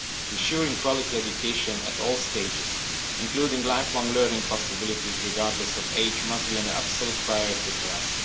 Ensuring quality education at all stages, including lifelong learning possibilities regardless of age, must be an absolute priority for us.